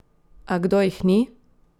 A kdo jih ni?